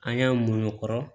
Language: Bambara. An y'an muɲu o kɔrɔ